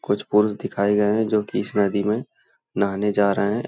कुछ पुरुष दिखाए गए हैं जो कि इस नदी में नहाने जा रहे हैं ।